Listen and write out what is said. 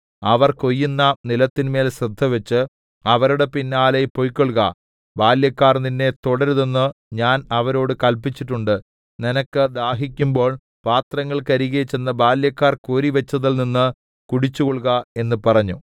അവർ കൊയ്യുന്ന നിലത്തിന്മേൽ ശ്രദ്ധവച്ച് അവരുടെ പിന്നാലെ പൊയ്ക്കൊൾക ബാല്യക്കാർ നിന്നെ തൊടരുതെന്ന് ഞാൻ അവരോടു കല്പിച്ചിട്ടുണ്ട് നിനക്ക് ദാഹിക്കുമ്പോൾ പാത്രങ്ങൾക്കരികെ ചെന്നു ബാല്യക്കാർ കോരിവച്ചതിൽനിന്ന് കുടിച്ചുകൊൾക എന്ന് പറഞ്ഞു